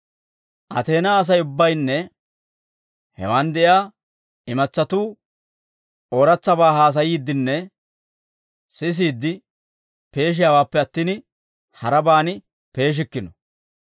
Ateenaa Asay ubbaynne hewaan de'iyaa imatsatuu ooratsabaa haasayiiddinne sisiide peeshiyaawaappe attin, harabaan peeshikkino.